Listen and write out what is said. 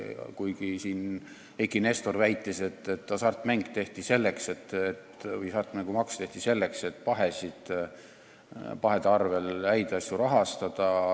Eiki Nestor väitis, et hasartmängumaks tehti selleks, et pahede arvel häid asju rahastada.